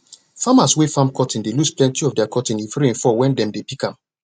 farmers wey farm cotton dey lose plenti of their cotton if rain fall wen dem dey pick am